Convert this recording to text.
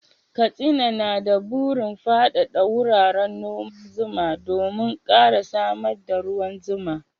Katsina na da burin faɗaɗa wuraren noman zuma domin ƙara samar da ruwan zuma.